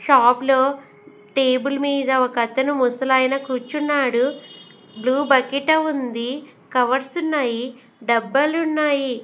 Shop లో table మీద ఒక అతను ముసలాయన కూర్చున్నాడు బ్లూ బకిట ఉంది కవర్స్ ఉన్నాయి డబ్బలు ఉన్నాయి.